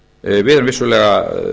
við erum vissulega